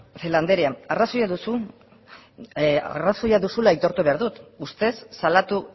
celaá andrea arrazoia duzula aitortu behar dut ustez salatu